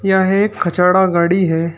यह एक कचड़ा गाड़ी है।